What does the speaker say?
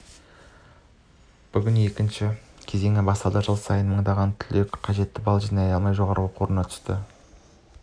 бүгін екінші кезеңі басталды жыл сайын мыңдаған түлек қажетті балл жинай алмай жоғары оқу орнына түсу